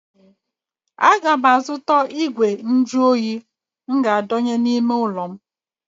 A ga m azụta igwe nju óyi m ga adọnye n'ime ụlọ ulo m